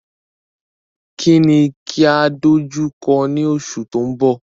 Kí ni kí á dojú kọ ní oṣù tó mbọ̀?